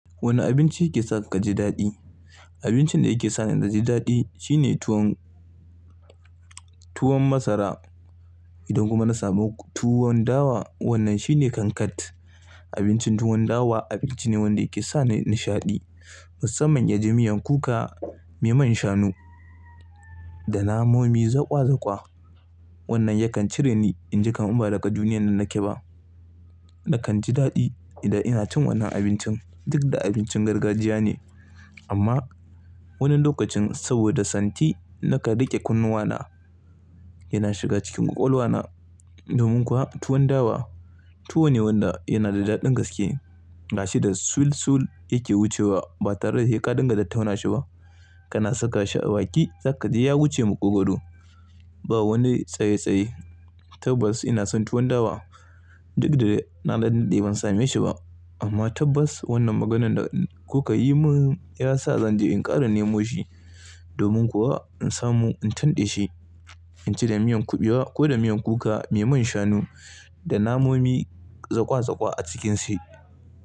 Wane abinci yake sa ka ji daɗi? Abincin da yake sa ni na ji daɗi shine tuwo, tuwon masara. Idan kuma na samu tuwon dawa, wannan shine kankat. Abincin tuwon dawa abinci ne wanda yake sa ni nishaɗi. Musamman ya ji miyan kuka mai man shanu da namomi zaƙwa zaƙwa. Wannan yakan cire ni inji kamar ba daga duniyar nan nake ba. Nakan ji daɗi idan ina cin wannan abincin. Duk da abincin gargajiya ne amma wani lokacin saboda santi na kan riƙe kunnuwana yana shiga cikin ƙwaƙwalwana. Domin kuwa tuwon dawa tuwo ne wanda yana da daɗin gaske. Gashi da sulsul yake wucewa ba tare da hai ka dunga tattauna shi ba. Kana saka shi a baki sakaji ya wuce maƙogwaro. Ba wani tsaye tsaye. Tabbas ina son tuwon dawa. Duk da na Dan daɗe ban same shi ba amma tabbas wannan maganan da kuka yi min ya sa zan je in ƙara nemo shi. Domin kuwa in samu in tanɗe shi. In ci da miyan kuɓewa ko da miyan kuka mai man shanu da namomi zaƙwa zaƙwa a cikin shi.